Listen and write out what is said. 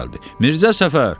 Mirzə Səfər!